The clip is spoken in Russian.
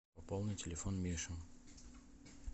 пополни телефон миши